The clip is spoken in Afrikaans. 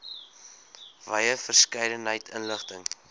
wye verskeidenheid inligting